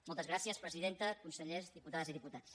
moltes gràcies presidenta consellers diputades i diputats